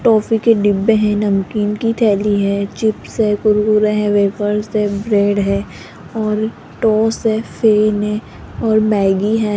Toffee के डिब्बे हैं नमकीन की थैली है चिप्स है कुरकुरे है वेपर्स है ब्रेड है और टॉस है फेम है और मैगी है।